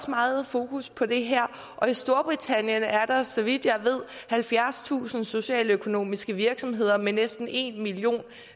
meget fokus på det her og i storbritannien er der så vidt jeg ved halvfjerdstusind socialøkonomiske virksomheder med næsten en million